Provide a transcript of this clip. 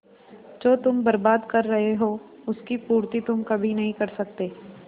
जो तुम बर्बाद कर रहे हो उसकी पूर्ति तुम कभी नहीं कर सकते